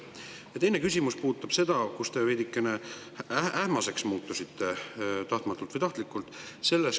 Ja teine küsimus puudutab, mille puhul te veidikene ähmaseks muutusite – tahtmatult või tahtlikult.